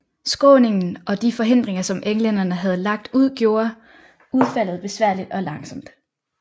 Skråningen og de forhindringer som englænderne havde lagt ud gjorde udfaldet besværligt og langsomt